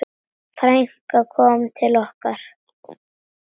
Frænkan kom til okkar.